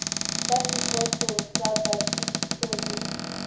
ka sekotlong sa phakiso le